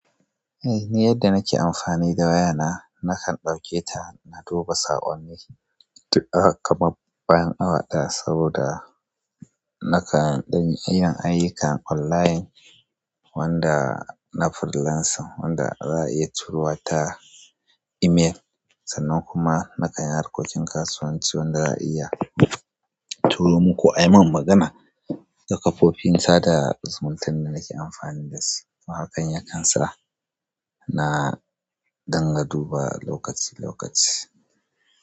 Eh ni yadda nake amfani da wayana nakan ɗauke ta na duba saƙonni kamar bayan awa ɗaya saboda nakan yin ayyukan online wanda na freelancing wanda za'a iya turo ta email sannan kuma nakan yi harkokin kasuwanci wanda za'a iya turo muku. Ai mun magana da kafofin sada zumunta da nake amfani dasu, haka yakansa na danna duba lokaci-lokaci.